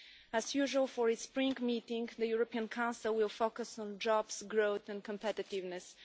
As usual for its spring meeting, the European Council will focus on jobs, growth and competitiveness.